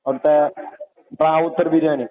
അവിടുത്തെ റാവുത്തർ ബിരിയാണി